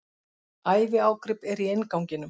Æviágrip er í innganginum.